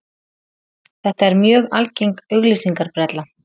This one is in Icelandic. Þetta er mjög algeng auglýsingabrella.